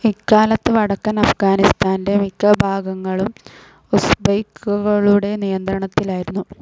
ഇക്കാലത്ത് വടക്കൻ അഫ്ഹ്ഗാനിസ്താന്റെ മിക്ക ഭാഗങ്ങൾഊം ഉസ്ബെക്കുകളുടെ നിയന്ത്രണത്തിലായിരുന്നു.